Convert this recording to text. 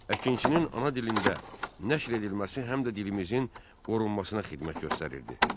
Əkinçinin ana dilində nəşr edilməsi həm də dilimizin qorunmasına xidmət göstərirdi.